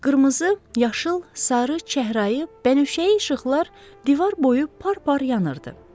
Qırmızı, yaşıl, sarı, çəhrayı, bənövşəyi işıqlar divar boyu par-par yanırdı.